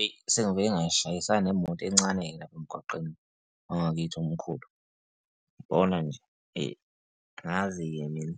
Eyi, sengibuye ngashayisana nemoto encane-ke lapha emgwaqweni wangakithi umkhulu, yabona nje, eyi, angazi-ke mina,